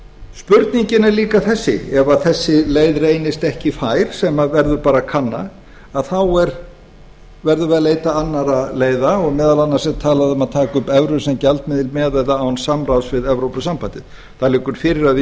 spurningin er líka þessi ef þessi leið reynist ekki fær sem verður að kanna þá verðum við að leita annarra leiða og meðal annars er talað um að taka upp evru sem gjaldmiðil með eða án sambands við evrópusambandið það liggur fyrir að við